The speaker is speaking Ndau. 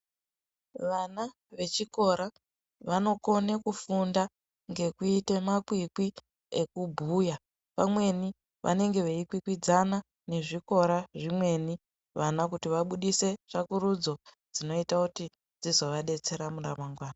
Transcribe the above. Vana vechikora vanokone kufunda ngokuite makwikwi ekubhuya vamweni vanenge veikwikwidzana nezvikora zvimweni vana kuti vabuditse tsvakurudzo dzinoita kuti dzizovabetsera mune ramangwana.